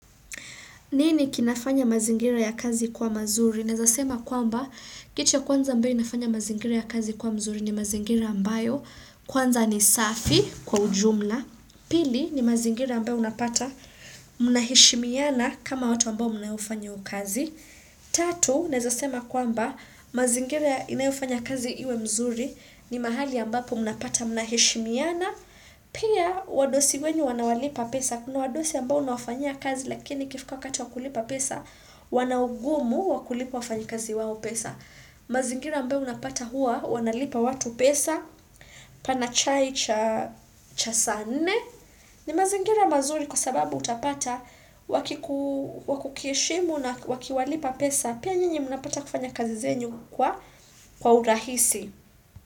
Nini kinafanya mazingira ya kazi kuwa mazuri? Neza sema kwamba, kichi ya kwanza ambayo inafanya mazingira ya kazi kuwa mzuri ni mazingira ambayo. Kwanza ni safi kwa ujumla. Pili ni mazingira ambayo unapata mnaheshimiana kama watu ambao mnayofanya hio kazi. Tatu, naeza sema kwamba, mazingira inayofanya kazi iwe mzuri ni mahali ambapo mnapata mna heshimiana. Pia wadosi wenu wanawalipa pesa Kuna wadosi ambao unawafanyia kazi lakini ikifika wakati wakulipa pesa wana ungumu wakulipa wafanyi kazi wawo pesa mazingira ambaye unapata hua wanalipa watu pesa pana chai cha cha saa nne. Ni mazingira mazuri kwa sababu utapata wakiku Wakukiheshimu na wakiwalipa pesa Pia nyinyi mnapata kufanya kazi zenyu kwa kwa urahisi.